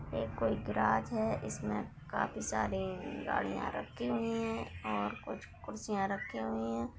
यह कोई गैराज है इसमें काफी सारी गाड़िया रखी हुई है और कुछ कुर्सियाँ रखी हुई है।